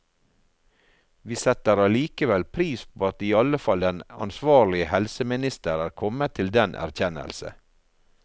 Vi setter allikevel pris på at iallfall den ansvarlige helseminister er kommet til den erkjennelse.